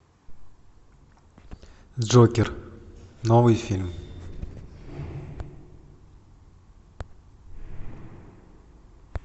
джокер новый фильм